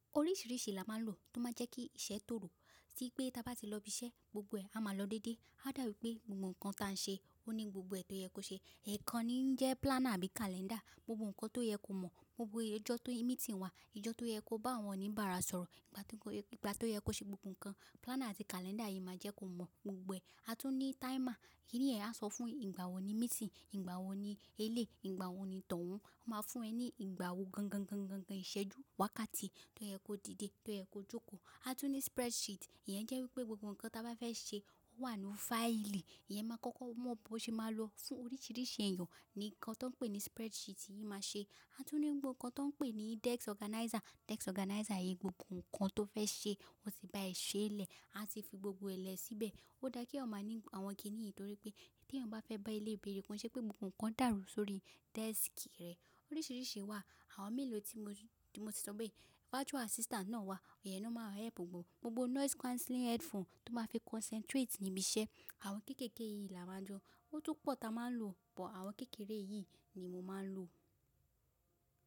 Oríṣìíríṣìí là má lò tó má jẹ́ kí iṣẹ́ tòrò. Tí pé táa bá ti lọ ibi iṣẹ́, gbogbo ẹ̀ à má lọ dédé. A dàbí pé gbogbo ǹkan ta n ṣe ó ní gbogbo ẹ̀ tó yẹ kó ṣe. Ikan ni ń jẹ́ planner àbí calendar. Gbogbo ǹkan tó yẹ kó mọ̀, gbogbo ọjọ́ tó ní meeting wà, ọjọ́ tó yẹ kó bá àwọn oníbàárà sọ̀rọ̀, ìgbà tó yẹ kó ṣe gbogbo ǹkan, planner àti calendar yìí máa jẹ́ kó mọ̀ gbogbo ẹ̀. A tún ní timer, èyí yẹn á sọ fún ẹ ìgbà wo ni meeting, ìgbà wo ni elé, ìgbà wo ni towun. Ó máa fún ẹ ní ìgbà wo gangan íṣẹ́ ju wákàtí tó yẹ kó dìde, tó yẹ kó jókòó. A tún ní spreadsheet, ìyẹn jẹ́ wípé gbogbo ǹkan táa bá fẹ́ ṣe ó wà nínú fáìlì. Ìyẹn máa kọ́kọ́ mọ̀ bó ṣe máa lò fún oríṣìíríṣìí èèyàn. Nǹkan tó ń pè ní spreadsheet yìí máa ṣe. A tún ní ohun kan tó ń pè ní desk organizer. Desk organizer yìí gbogbo ǹkan tó fẹ́ ṣe ó ti bá è ṣe lẹ̀, a ti fi gbogbo ẹ̀ lẹ̀ síbẹ̀. Ó dá kí ọ máa ní àwọn kìnnìyì torí pé tí ẹni bá fẹ́ bá ilé ìbéèrè kàn ṣe pé gbogbo ǹkan dàrú sórí desk rẹ̀. Oríṣìíríṣìí wà, àwọn mélòó tí mo ti sọ pé virtual assistant náà wà, ọ̀yẹn ni o máa help gbogbo. Gbogbo noise cancelling headphone tó máa fi concentrate níbi iṣẹ́. Àwọn kéékèèké yìí là máa jọ. Ó tún pọ̀ táa má lò, bọ àwọn kéékèèké yìí ni mo máa ń lò.